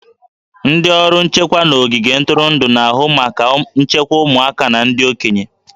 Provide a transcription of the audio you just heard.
Ndị ọrụ nchekwa n'ogige ntụrụndụ na-ahụ maka nchekwa ụmụaka na ndị okenye